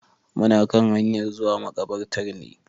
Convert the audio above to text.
Muna kan hanyan zuwa maƙabarta ne.